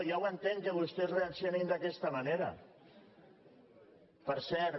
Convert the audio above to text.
ja ho entenc que vostès reaccionin d’aquesta manera per cert